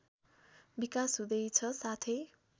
विकास हुँदैछ साथै